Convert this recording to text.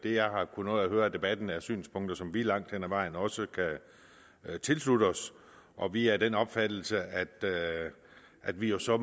jeg har kunnet nå at høre af debatten er synspunkter som vi langt hen ad vejen også kan tilslutte os og vi er af den opfattelse at at vi jo så